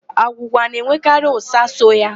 Agwụgwa na-enwekarị ụ́sà so ya.